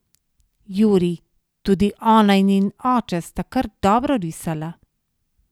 Jurij: 'Tudi ona in njen oče sta kar dobro risala.